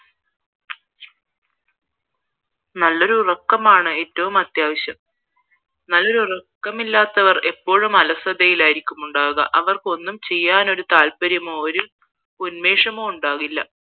നല്ലൊരു ഉറക്കമാണ് ഏറ്റവും അത്യാവശ്യം നല്ല ഉറക്കമില്ലാത്തവർ എപ്പോഴും അലസതയിലായിരിക്കും ഉണ്ടാവുക അവർക്ക് ഒന്നും ചെയ്യാന് ഒരു താല്പര്യമോ ഉന്മേഷമോ ഉണ്ടാകില്ല